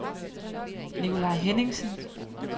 Nicolai Henningsen